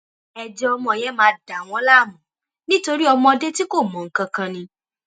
ẹjẹ ọmọ yẹn máa dà wọn láàmú nítorí ọmọdé tí kò mọ nǹkan kan ni